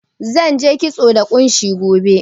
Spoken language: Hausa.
Zan je kitso da ƙunshi gobe.